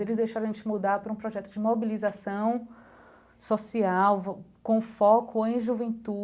Eles deixaram a gente mudar para um projeto de mobilização social, com foco em juventude.